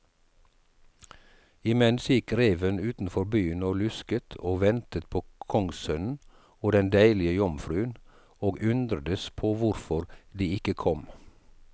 Imens gikk reven utenfor byen og lusket og ventet på kongssønnen og den deilige jomfruen, og undredes på hvorfor de ikke kom.